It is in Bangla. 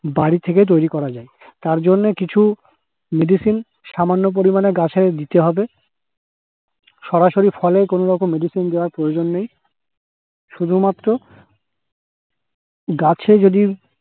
বাড়ি থেকে তৈরি করা যায়। তার জন্যে কিছু medicine সামান্য পরিমাণে গাছে দিতে হবে সরাসরি ফলে কোন রকম medicine দেওয়ার প্রয়োজন নেই। শুধুমাত্র গাছে যদি